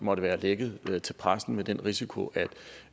måtte være lækket til pressen med den risiko